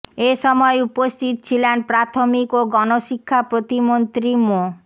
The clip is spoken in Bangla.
এ সময় উপস্থিত ছিলেন প্রাথমিকও গণ শিক্ষা প্রতিমন্ত্রী মো